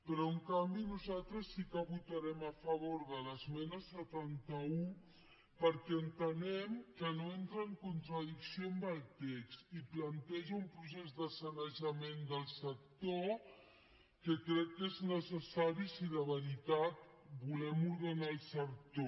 però en canvi nosaltres sí que votarem a favor de l’esmena setanta un perquè entenem que no entra en contradicció amb el text i planteja un procés de sanejament del sector que crec que és necessari si de veritat volem ordenar el sector